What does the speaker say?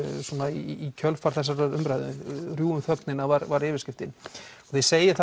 í kjölfar þessarar umræðu rjúfum þögnina var var yfirskriftin þið segið